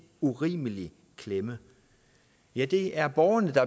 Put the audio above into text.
urimelig klemme ja det er borgerne der